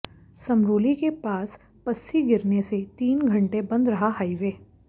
समरोली के पास पस्सी गिरने से तीन घंटे बंद रहा हाईवे